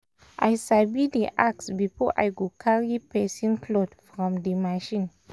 i sabi dey ask before i go carry person cloth from di machine.